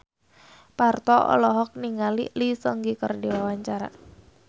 Parto olohok ningali Lee Seung Gi keur diwawancara